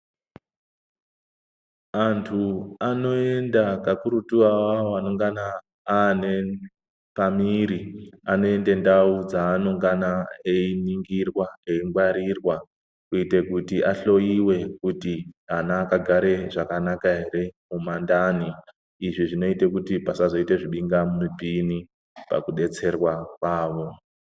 Antu anoenda kakurutu awawo anongana ane pa mwiri anoende ndau dza anongana eyi ningirwa eyi ngwarirwa kuite kuti ahloyiwe kuti ana akagare zvakanaka ere mu mandani izvi zvinoite kuti pasazo ita zvibinga mupini paku detserwa kwavo.